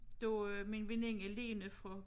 Du øh men veninde Lene fra